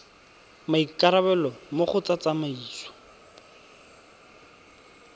maikarabelo mo go tsa tsamaiso